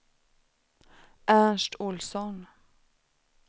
Ernst Olsson